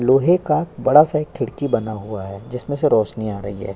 लोहे का बड़ा सा एक खिड़की बना हुआ है। जिसमें से रोशनी आ रही है।